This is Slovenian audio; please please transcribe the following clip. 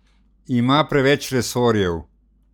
Ima preveč resorjev?